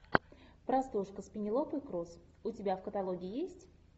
простушка с пенелопой круз у тебя в каталоге есть